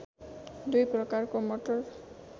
दुई प्रकारको मटर